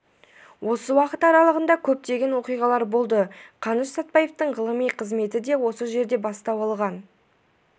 осы уақыт аралығында көптеген оқиғалар болды қаныш сәтпаевтың ғылыми қызметі де осы жерден бастау алған